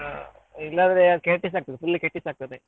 ಇಲ್ಲಾದ್ರೆ ಕೆಟ್ಟಿಸ್ ಆಗ್ತದೆ full ಕೆಟ್ಟಿಸ್ ಆಗ್ತದೆ.